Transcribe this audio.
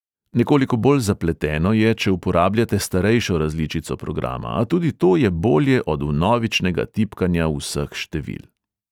Nekoliko bolj zapleteno je, če uporabljate starejšo različico programa, a tudi to je bolje od vnovičnega tipkanja vseh števil.